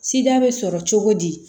Sida bɛ sɔrɔ cogo di